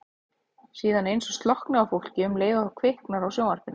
Síðan eins og slokkni á fólki um leið og kviknar á sjónvarpinu.